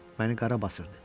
Məni qara basırdı.